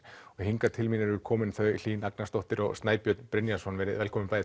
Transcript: hingað til mín eru komin þau Hlín Agnarsdóttir og Snæbjörn Brynjarsson velkomin